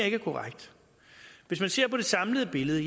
ikke er korrekt hvis man ser på det samlede billede